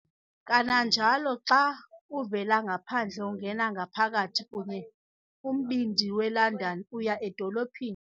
Kananjalo, xa uvela ngaphandle ungena ngaphakathi kanye kumbindi weLondon "uya edolophini"